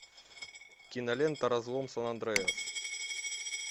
кинолента разлом сан андреас